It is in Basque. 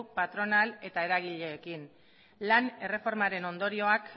patronal eta eragileekin lan erreformaren ondorioak